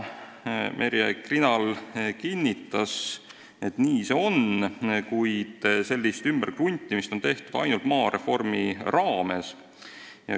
Merje Krinal kinnitas, et nii see on, kuid sellist ümberkruntimist on tehtud ainult maareformi raames.